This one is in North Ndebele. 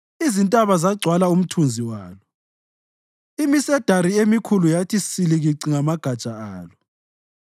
Izintaba zagcwala umthunzi walo, imisedari emikhulu yathi silikici ngamagatsha alo.